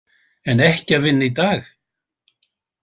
En ekki að vinna í dag.